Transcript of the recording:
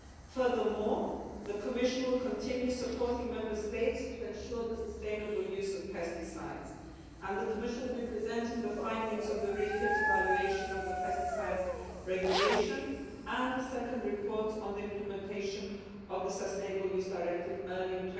Furthermore, the Commission will continue supporting Member States to ensure the sustainable use of pesticides, and the Commission will be presenting the findings of the refit evaluation of the Pesticides Regulation and the second reports on the implementation of the Sustainable Use Directive early in